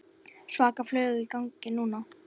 Svaka flug í gangi núna.